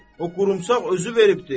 O qurumsaq özü veribdir.